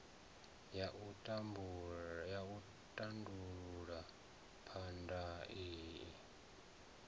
ya u tandulula phambano i